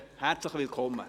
Herzlich willkommen!